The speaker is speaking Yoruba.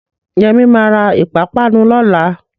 Yẹmí ma ra ìpápánu lọ́la